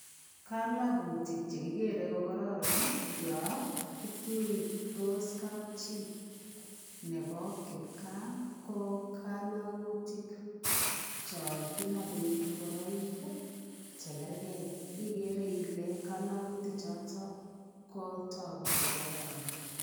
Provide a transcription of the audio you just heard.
Kalakutik che kigeree kokororon yo kituitos kapchi nebo kipkaa ko kalagutik cho kinapei ingoroik chegergei. Igere ile eng kalagutik choto kotagu kokororon.